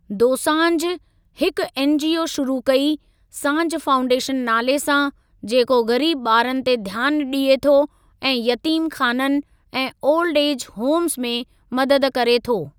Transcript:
दोसांझ हिकु एनजीओ शुरू कई, सांझ फाउंडेशन नाले सां, जेको ग़रीबु ॿारनि ते ध्यानु ॾिए थो ऐं यतीम ख़ानन ऐं ओल्ड एज होमज़ि में मदद करे थो।